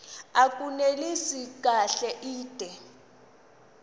abunelisi kahle inde